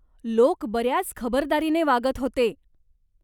लोक बऱ्याच खबरदारीने वागत होते.